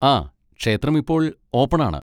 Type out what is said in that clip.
ആ, ക്ഷേത്രം ഇപ്പോൾ ഓപ്പൺ ആണ്.